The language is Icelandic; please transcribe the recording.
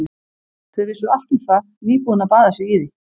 Þau vissu allt um það, nýbúin að baða sig í því.